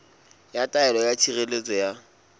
ya taelo ya tshireletso ya